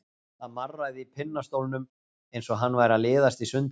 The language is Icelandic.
Það marraði í pinnastólnum eins og hann væri að liðast í sundur.